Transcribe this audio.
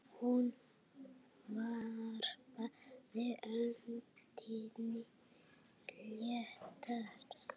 Hún varpaði öndinni léttar.